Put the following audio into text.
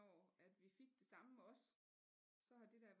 Når at vi fik det samme også så har det da